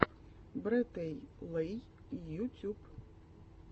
брэтэйлэй ютюб